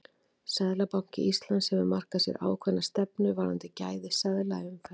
Seðlabanki Íslands hefur markað sér ákveðna stefnu varðandi gæði seðla í umferð.